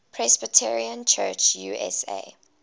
presbyterian church usa